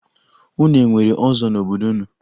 Unu e nwere ọzọ n'obodo unu?